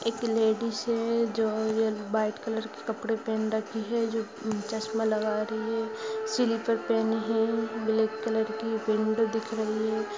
एक लेडिस है जो यल वाइट कलर के कपड़े पहन रखी है जो चश्मा लगा रही है| स्लिपर पेहने है ब्लेेक कलर की | विंडो दिख रही है।